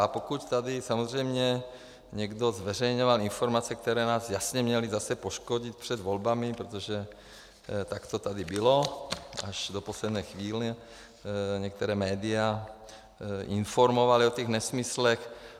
A pokud tady samozřejmě někdo zveřejňoval informace, které nás jasně měly zase poškodit před volbami, protože tak to tady bylo, až do poslední chvíle některá média informovala o těch nesmyslech.